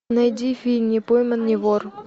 найди фильм не пойман не вор